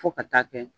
Fo ka taa kɛ